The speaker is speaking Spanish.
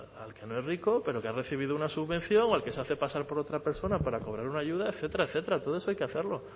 al que no es rico pero que ha recibido una subvención o al que se hace pasar por otra persona para cobrar una ayuda etcétera etcétera todo eso hay que hacerlo